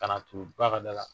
Kan'a turu ba ka da la